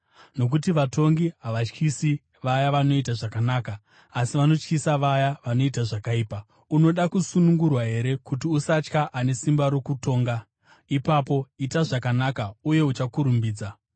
Nokuti vatongi havatyisi vaya vanoita zvakanaka, asi vanotyisa vaya vanoita zvakaipa. Unoda kusunungurwa here kuti usatya ane simba rokutonga? Ipapo ita zvakanaka uye achakurumbidza.